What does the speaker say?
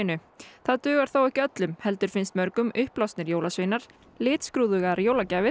það dugar þó ekki öllum heldur finnst mörgum jólasveinar litskrúðugar jólagjafir